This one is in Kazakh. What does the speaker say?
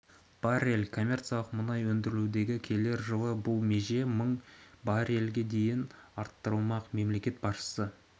баррель коммерциялық мұнай өндірілуде келер жылы бұл меже мың баррельге дейін дейін арттырылмақ мемлекет басшысы